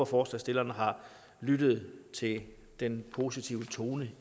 forslagsstillerne har lyttet til den positive tone